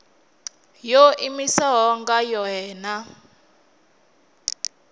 yo iimisaho nga yohe na